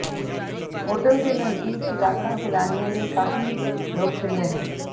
hotel ਦੇ ਨਜ਼ਦੀਕ ਇਲਾਕਾ ਸੈਲਾਨੀਆਂ ਲਈ ਕਾਫ਼ੀ ਲੋਕਪ੍ਰਿਯ ਹੈ